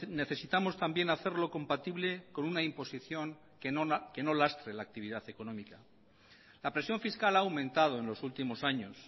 necesitamos también hacerlo compatible con una imposición que no lastre la actividad económica la presión fiscal ha aumentado en los últimos años